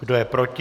Kdo je proti?